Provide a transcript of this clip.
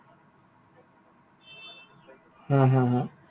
হা, হা, হা।